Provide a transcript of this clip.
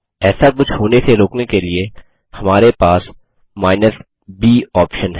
ऐसा कुछ होने से रोकने के लिए हमारे पास केपिटल b ऑप्शन है